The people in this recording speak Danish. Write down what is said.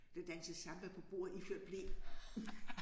Der dansede samba på bordet iført ble